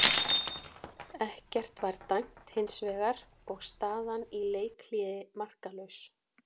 Ekkert var dæmt hins vegar og staðan í leikhléi markalaus.